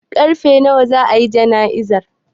Karfe nawa za a yi jana'izar?